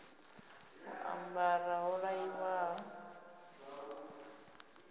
u ambara ho raliho ri